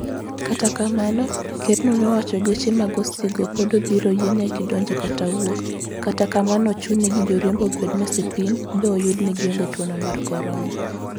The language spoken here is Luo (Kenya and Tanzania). Kata kamano, ker no ne owacho gache mag osigo pod ibiro yien gi donjo kata wuok, kata kamano ochuni ni joriembo obed ni osepim gi ba oyud ni gionge tuo mar corona